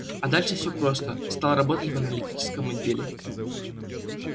а дальше всё просто стал работать в аналитическом отделе